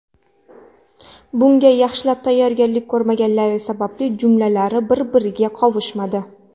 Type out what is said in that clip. Bunga yaxshilab tayyorgarlik ko‘rmaganligi sababli jumlalari bir-biriga qovushmadi.